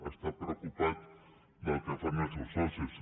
ha estat preocupat del que fan els seus socis